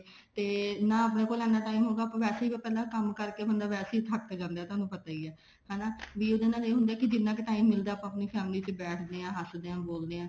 ਤੇ ਨਾ ਆਪਣੇ ਕੋਲ ਇੰਨਾ time ਹੋਇਗਾ ਵੈਸੇ ਵੀ ਪਹਿਲਾਂ ਕੰਮ ਕਰਕੇ ਬੰਦਾ ਵੈਸੇ ਹੀ ਥੱਕ ਜਾਂਦਾ ਥੋਨੂੰ ਪਤਾ ਹੀ ਹੈ ਹਨਾ ਕੇ ਉਹਦੇ ਨਾਲ ਇਹ ਹੁੰਦਾ ਵੀ ਜਿੰਨਾ ਕ time ਆਪਾਂ ਆਪਣੀ family ਚ ਬੈਠਦੇ ਹਾਂ ਉੱਠਦੇ ਹਾਂ ਬੋਲਦੇ ਹਾਂ